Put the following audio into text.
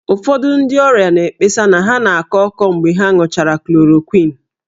Ụfọdụ ndị ọrịa na-ekpesa na ha na-akọ ọkọ mgbe ha ṅụchara chloroquine